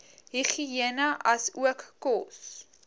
higïene asook kos